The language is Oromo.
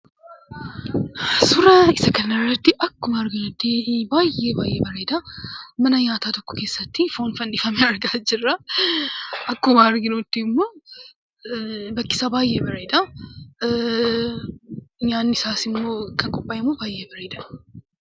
Suuraa akkuma agarrutti suuraan kun baay'ee baay'ee bareedaa. Mana nyaataa kana keessatti konkolaataa tokko argaa jirra. Akkuma argaa jirru bakkisaa baay'ee bareeda. Nyaatni isaas immoo kan qophaayee baay'ee bareeda.